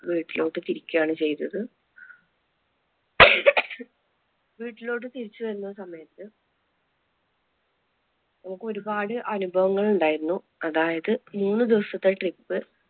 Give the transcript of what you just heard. വീട്ടിലോട്ട് തിരിക്കയാണ് ചെയ്തത്, വീട്ടിലോട്ട് തിരിച്ചു വരുന്ന സമയത്ത് നമുക്ക് ഒരുപാട് അനുഭവങ്ങൾ ഉണ്ടായിരുന്നു അതായത്, മൂന്ന് ദിവസത്തെ trip